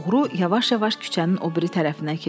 Oğru yavaş-yavaş küçənin o biri tərəfinə keçdi.